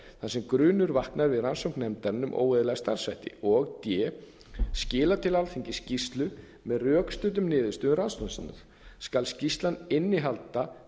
þar sem grunur vaknar við rannsókn nefndarinnar um óeðlilega starfshætti d skila til alþingis skýrslu með rökstuddum niðurstöðum rannsóknar sinnar skal skýrslan innihalda